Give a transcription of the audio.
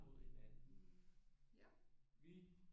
Mod hinanden vi